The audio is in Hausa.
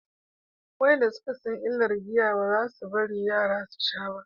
wayanda suka san illar giya ba za su bari yara su sha ba